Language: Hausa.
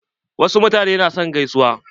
Wasu mutanen na son gaisuwa.